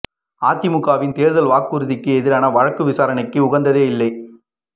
அதிமுகவின் தேர்தல் வாக்குறுதிக்கு எதிரான வழக்கு விசாரணைக்கு உகந்ததே இல்லை